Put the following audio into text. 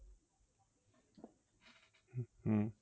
হম